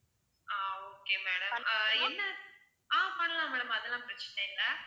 ஆஹ் okay madam என்ன ஆஹ் பண்ணலாம் madam அதெல்லாம் பிரச்சனை இல்ல